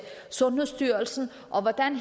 sundhedsstyrelsen og hvordan